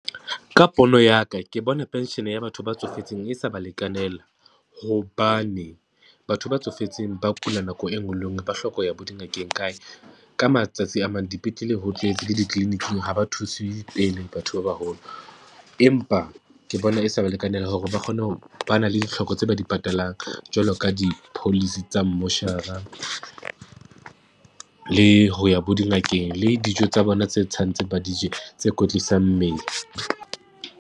Ka pono ya ka ke bona pension ya batho ba tsofetseng e sa ba lekanela, hobane batho ba tsofetseng ba kula nako e nngwe le e nngwe ba hloka ho ya bo dingakeng kae. Ka matsatsi a mang, dipetlele, ho tletse le dikliniking ha ba thuse pele batho ba baholo, empa ke bona e sa ba lekanela hore ba kgone ho, ba na le ditlhoko tse ba di patalang jwalo ka di-policy tsa mmoshara, le ho ya bo dingakeng le dijo tsa bona tse tshwantseng ba di je, tse kwetlisang mmele.